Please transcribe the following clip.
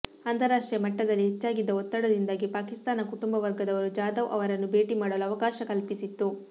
ಅಂತಾರಾಷ್ಟ್ರೀಯ ಮಟ್ಟದಲ್ಲಿ ಹೆಚ್ಚಾಗಿದ್ದ ಒತ್ತಡದಿಂದಾಗಿ ಪಾಕಿಸ್ತಾನ ಕುಟುಂಬವರ್ಗದವರು ಜಾದವ್ ಅವರನ್ನು ಭೇಟಿ ಮಾಡಲು ಅವಕಾಶ ಕಲ್ಪಿಸಿತ್ತು